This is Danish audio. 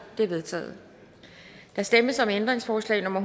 det er vedtaget der stemmes om ændringsforslag nummer